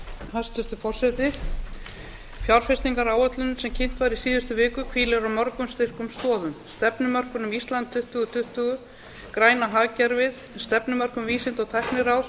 hæstvirtur forseti fjárfestingaráætlunin sem kynnt var í síðustu viku hvílir á mörgum styrkum stoðum stefnumörkun um ísland tuttugu tuttugu græna hagkerfið stefnumörkun vísinda og tækniráðs